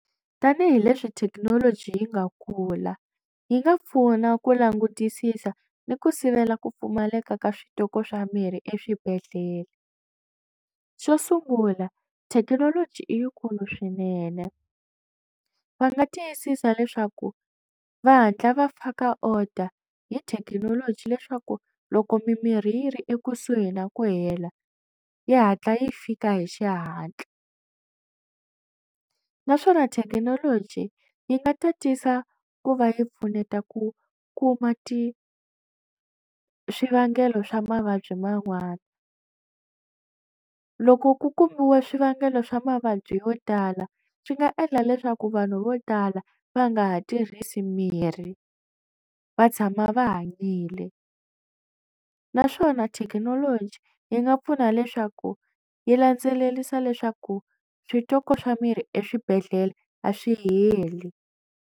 Tanihi leswi thekinoloji yi nga kula yi nga pfuna ku langutisisa ni ku sivela ku pfumaleka ka switoko swa mirhi eswibedhlele xo sungula thekinoloji i yikulu swinene va nga tiyisisa leswaku va hatla va faka order hi thekinoloji leswaku loko mimirhi yi ri ekusuhi na ku hela yi hatla yi fika hi xihatla naswona thekinoloji yi nga tatisa ku va yi pfuneta ku kuma ti swivangelo swa mavabyi man'wana loko ku kumiwe swivangelo swa mavabyi yo tala swi nga endla leswaku vanhu vo tala va nga ha tirhisi mirhi va tshama va hanyile naswona thekinoloji yi nga pfuna leswaku yi landzelelisa leswaku switoko swa mirhi eswibedhlele a swi heli.